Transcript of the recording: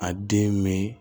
A den min